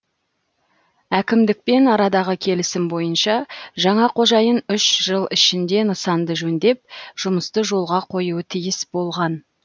әкімдікпен арадағы келісім бойынша жаңа қожайын үш жыл ішінде нысанды жөндеп жұмысты жолға қоюы тиіс болған